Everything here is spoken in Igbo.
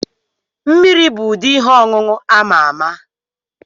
Mmiri bụ ụdị ihe ọṅụṅụ ama ama.